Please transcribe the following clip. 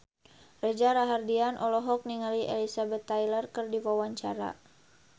Reza Rahardian olohok ningali Elizabeth Taylor keur diwawancara